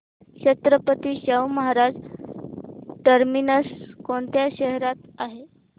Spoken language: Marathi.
छत्रपती शाहू महाराज टर्मिनस कोणत्या शहरात आहे